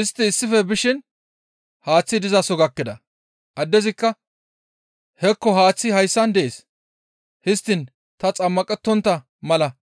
Istti issife bishe haaththi dizaso gakkida; addezikka, «Hekko haaththi hayssan dees; histtiin ta xammaqettontta mala tana